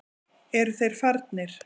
Eru þeir farnir?